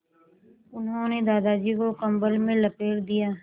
उन्होंने दादाजी को कम्बल में लपेट दिया